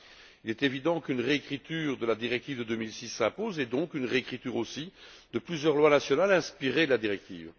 Il est évident qu'une réécriture de la directive de 2006 s'impose et, donc, une réécriture aussi de plusieurs lois nationales inspirées de la directive.